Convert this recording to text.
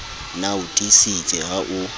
na o tiisitse ha o